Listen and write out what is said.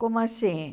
Como assim?